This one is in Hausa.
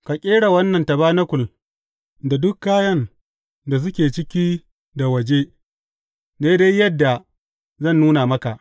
Ka ƙera wannan tabanakul da duk kayan da suke ciki da waje, daidai yadda zan nuna maka.